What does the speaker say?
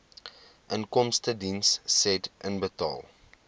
inkomstediens said inbetaal